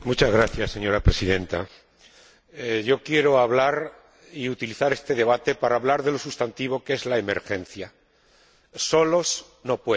Señora Presidenta, quiero hablar y utilizar este debate para hablar de un sustantivo, que es la emergencia solos, no pueden.